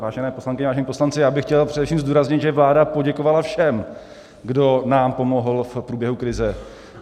Vážené poslankyně, vážení poslanci, já bych chtěl především zdůraznit, že vláda poděkovala všem, kdo nám pomohl v průběhu krize.